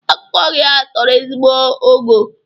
Akụkọ gị a toro ezigbo ogo